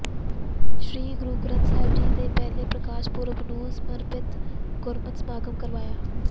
ਸ੍ਰੀ ਗੁਰੂ ਗ੍ਰੰਥ ਸਾਹਿਬ ਜੀ ਦੇ ਪਹਿਲੇ ਪ੍ਰਕਾਸ਼ ਪੁਰਬ ਨੂੰ ਸਮਰਪਿਤ ਗੁਰਮਤਿ ਸਮਾਗਮ ਕਰਵਾਇਆ